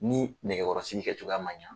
Ni nɛgɛkɔrɔsigi kɛcogoya man ɲɛ.